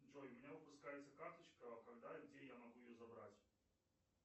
джой у меня выпускается карточка когда и где я могу ее забрать